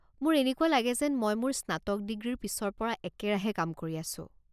মোৰ এনেকুৱা লাগে যেন মই মোৰ স্নাতক ডিগ্ৰীৰ পিছৰ পৰা একেৰাহে কাম কৰি আছো।